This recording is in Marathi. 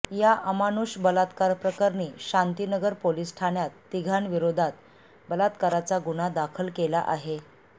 या अमानुष बलात्कारप्रकरणी शांतीनगर पोलीस ठाण्यात तिघांविरोधात बलात्काराचा गुन्हा दाखल केला आहे